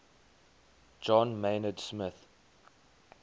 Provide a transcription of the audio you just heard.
john maynard smith